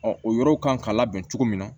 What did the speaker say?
o yɔrɔw kan ka labɛn cogo min na